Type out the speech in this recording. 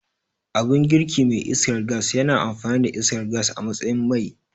Abun girki mai iskar gas yana amfani da iskar gas a matsayin mai